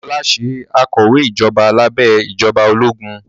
Ọlá ṣe akọ̀wé ìjọba lábẹ́ ìjọba ológun